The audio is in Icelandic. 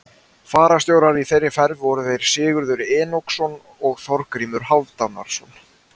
Fararstjórar í þeirri ferð voru þeir Sigurður Enoksson og Þorgrímur Hálfdánarson.